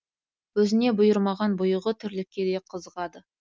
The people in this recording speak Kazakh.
өзіне бұйырмаған бұйығы тірлікке де қызығады